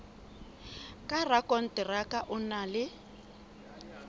ka rakonteraka o na le